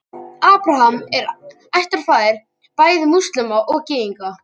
Abraham er ættfaðir bæði múslíma og gyðinga.